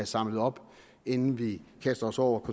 samlet op inden vi kaster os over